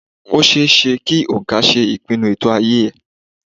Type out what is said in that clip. Ó ṣe é ṣe kí òǹkà ṣe ìpinnu ètò ayé ẹ.